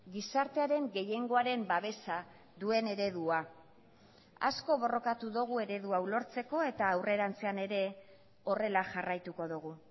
gizartearen gehiengoaren babesa duen eredua asko borrokatu dugu eredu hau lortzeko eta aurrerantzean ere horrela jarraituko dugu